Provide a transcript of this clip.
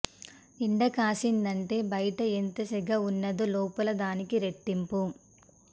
ఎండ కాసినాదంటే బయట ఎంత సెగ ఉన్నాదో లోపల దానికి రెట్టింపు